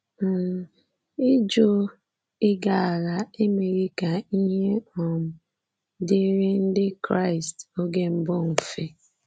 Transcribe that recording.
um Ịjụ ịga agha emeghị ka ihe um dịrị Ndị Kraịst oge mbụ mfe.